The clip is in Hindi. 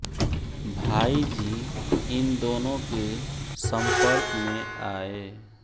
भाई जी इन दोनों के सम्पर्क में आये